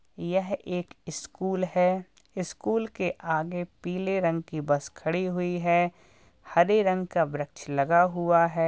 यह एक स्कूल है। स्कूल के आगे पीले रंग की बस खड़ी हुई है। हरे रंग का वृक्ष लगा हुआ है।